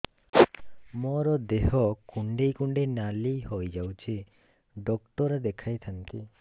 ମୋର ଦେହ କୁଣ୍ଡେଇ କୁଣ୍ଡେଇ ନାଲି ହୋଇଯାଉଛି ଡକ୍ଟର ଦେଖାଇ ଥାଆନ୍ତି